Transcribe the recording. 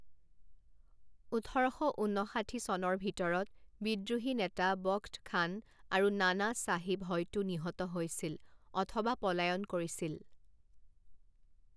ওঠৰ শ ঊন্নষাঠি চনৰ ভিতৰত বিদ্ৰোহী নেতা বখ্ত খান আৰু নানা চাহিব হয়তো নিহত হৈছিল অথবা পলায়ন কৰিছিল।